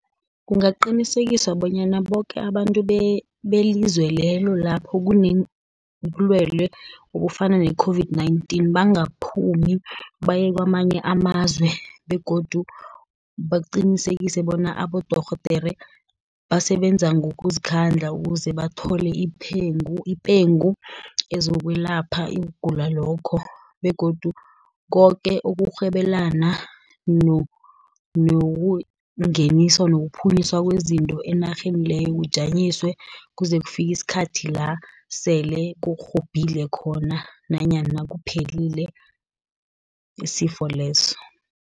Kungaqinisekisa bonyana boke abantu belizwe lelo lapho kunebulwelwe obufana ne-COVID-19, bangaphumi baye kwamanye amazwe, begodu baqinisekise bona abodorhodere basebenza ngokuzikhandla ukuze bathole ipengu ezokwelapha ukugula lokho, begodu koke ukurhwebelana nokungenisa, nokuphunyiswa kwezinto enarheni leyo, kujanyiswe kuze kufike isikhathi la, sele kurhobhile khona, nanyana kuphelile isifo leso.